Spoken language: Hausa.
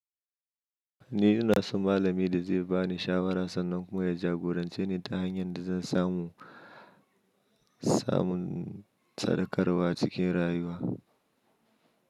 Ni ina so malami da zai ba ni shawara sannan kuma ya jagorance ni ta hanyar da zan samu samun sadaukarwa cikin rayuwa.